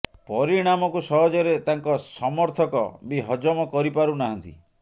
ପରିଣାମକୁ ସହଜରେ ତାଙ୍କ ସମର୍ଥକ ବି ହଜମ କରି ପାରୁ ନାହାନ୍ତି